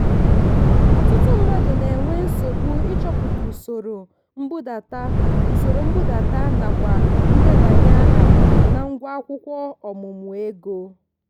ọtụtụ mmadụ na-enwe nsogbu ịchọpụta usoro nbudata usoro nbudata nakwa ndebanye aha na ngwa akwụkwọ ọmụmụ ego.